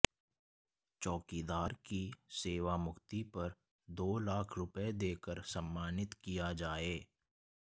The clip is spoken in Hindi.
चौकीदार की सेवामुक्ति पर दो लाख रुपए देकर सम्मानित किया जाए